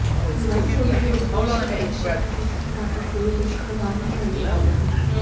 विवाह से उनके उद्देश्य या लक्ष्य पर किसी तरह का कोई दुष्प्रभाव नहीं पडऩे वाला